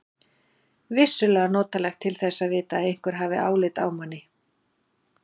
Vissulega notalegt til þess að vita að einhver hafi álit á manni.